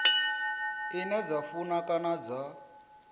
ine dza funa kana dza